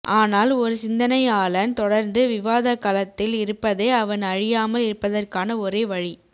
ஆனால் ஒரு சிந்தனையாளன் தொடர்ந்து விவாதக்களத்தில் இருப்பதே அவன் அழியாமல் இருப்பதற்கான ஒரே வழி